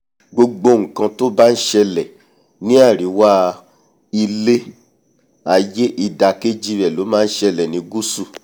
gbogbo nkan to bá n ṣẹlẹ̀ ní àríwá ilé-aiyé ìdàkejì rẹ̀ ló ma nṣẹlẹ̀ ní gusu